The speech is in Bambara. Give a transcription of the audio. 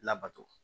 Labato